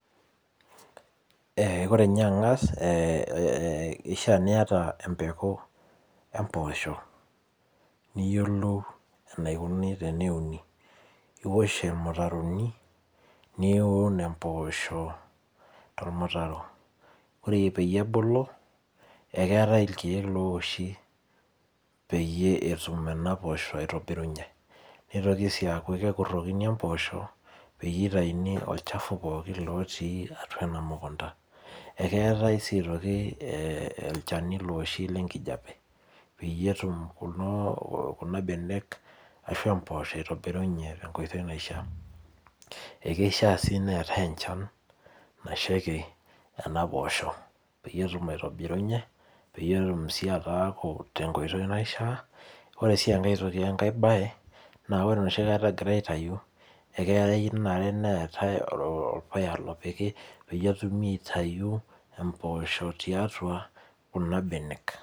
Ee ore nye ang'as ee ishaa niyata empeku empoosho, niyiolou enaikuni teneuni, niwosh irmutaroni niun empoosho tormutaro. Ore peyie ebulu eyatai irkeek loowoshi peyie etum nena poosho aitobirunye, nitoki sii aaku ekrukoni impoosho peyie itauni olchafu pookin lotii atua ena mukunda. Aa keetai sii aitoki ee ochani looshi le nkijape peyie etum kulo kuna benek aishoo mpoosho itoirunye te nkoitoi naishaa. Ee keishaa sii neetai enchan nashaiki nena poosho peyie etum aitobirunye, peyie etum sii ataaku tenkoitoi naishaa. Ore sii enkae toki we nkae baye naa ore enoshi kata egirai aitayuake eyeu neetai orpuya lopiki peyie etumokini aitayu empoosho tiatua kuna benek.